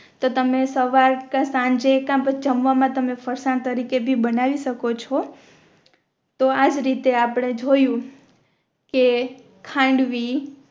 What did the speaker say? તો તમે સવાર કા સાંજે કા જમવામાં તમે ફરસાણ તરીકે કે બી બનાવી શકો છો તો આજ રીતે આપણે જોયું કે ખાંડવી